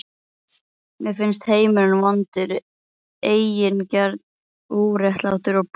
Mér finnst heimurinn vondur, eigingjarn, óréttlátur og blindur.